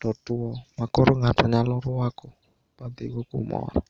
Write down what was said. totuo ma koro ng'ato nyalo ruako badhigo kumoro.